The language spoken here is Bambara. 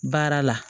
Baara la